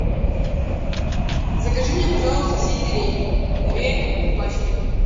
закажи мне пожалуйста сельдерей две пачки